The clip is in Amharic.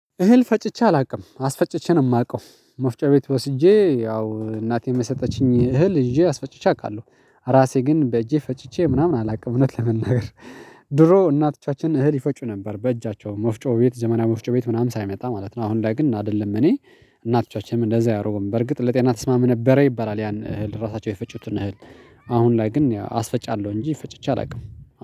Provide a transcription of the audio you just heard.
እህል ፈጭቼ አላውቅም አስፈጭቼ ነው የማውቀው ወፍጮ ቤት ወስጄ ያው እናቴ የሰጠችኝን እህል ይዤ አስፈጭቼ አውቃለሁ። ራሴ ግን በእጄ ፈጭቼ ምናምን አላውቅም እውነት ለመናገር። ድሮ እናቶቻችን እህል ይፈጩ ነበር በእጃቸው መፍጮ ቤት ዘመናዊ መፍጮ ቤት ምናምን ሳይመጣ ማለት ነው። አሁን ግን አይደለም እኔ እናቶቻችንም እንደዛ አያሮረጉ በርግጥ ለጤና ተስማም ነበረ ይባላል ያን እህል ራሳቸው የፈጩትን እህል። አሁን ላይ ግን አስፈጫለሁ እንጂ ፈጭቼ አላውቅም።